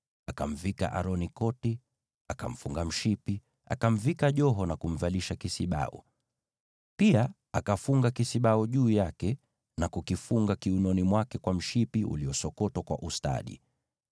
Akamvika Aroni koti, akamfunga mshipi, akamvika joho na kumvalisha kisibau. Pia akafunga kisibau juu yake na kukifunga kiunoni mwake kwa mshipi wake uliosokotwa kwa ustadi.